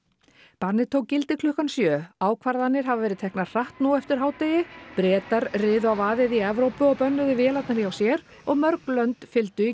bannið tók gildi klukkan sjö ákvarðanir hafa verið teknar hratt nú eftir hádegi Bretar riðu á vaðið í Evrópu og bönnuðu vélarnar hjá sér og mörg lönd fylgdu í